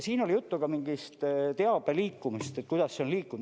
Siin oli juttu mingist teabe liikumisest, et kuidas see on liikunud.